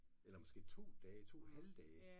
Eller måske 2 dage måske 2 halve dage